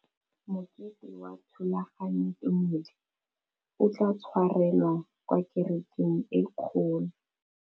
Mokete wa thulaganyôtumêdi o tla tshwarelwa kwa kerekeng e kgolo.